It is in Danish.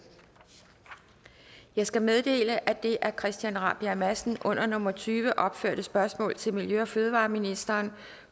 jeg skal meddele at det af christian rabjerg madsen under nummer tyve opførte spørgsmål til miljø og fødevareministeren